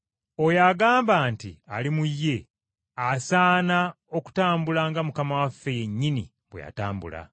Oyo agamba nti ali mu ye, asaana okutambula nga Mukama waffe yennyini bwe yatambula.